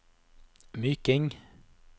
Myking